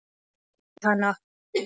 Ég kyssi hana.